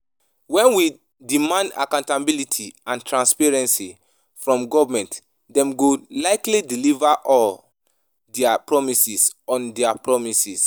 When we demand accountability and transparency from government, dem go likely deliver on dia promises. on dia promises.